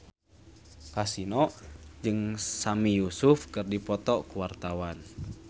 Kasino jeung Sami Yusuf keur dipoto ku wartawan